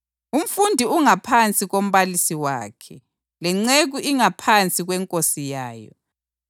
Umfundi ungaphansi kombalisi wakhe, lenceku ingaphansi kwenkosi yayo.